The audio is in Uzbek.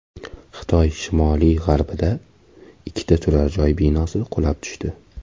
Xitoy shimoli-g‘arbida ikki turar joy binosi qulab tushdi.